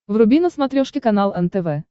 вруби на смотрешке канал нтв